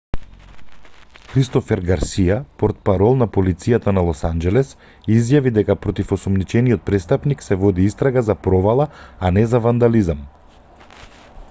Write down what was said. кристофер гарсија портпарол на полицијата на лос анџелес изјави дека против осомничениот престапник се води истрага за провала а не за вандализам